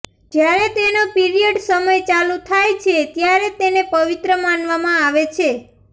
જયારે તેનો પિરિયડ સમય ચાલુ થાય છે ત્યારે તેને પવિત્ર માનવામાં આવે છે